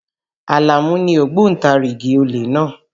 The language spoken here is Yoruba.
Àlàmú ni ògbóntarigìdì olè náà.